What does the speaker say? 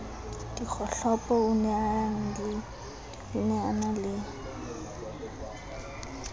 dikgohlopo o ne a na